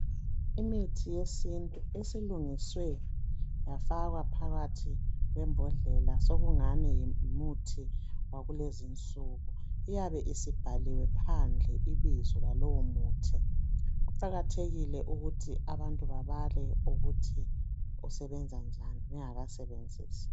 Imithi yesintu esilungiswe yafakwa phakathi kwembhodlela, sokungani ngumuthi wakulezinsuku. Iyabe isibhaliwe phandle ibizo lalowomuthi. Kuqakathekile ukuthi abantu babale ukuthi usebenza njani bengakasebenzisi.